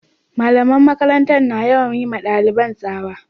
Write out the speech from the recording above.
The school teachers are always shouting at students